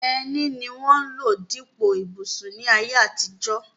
Ẹní ni wọ́n ń lò dípò ìbùsùn ní ayé àtijọ́.